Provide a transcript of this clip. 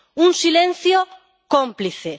Un silencio cómplice.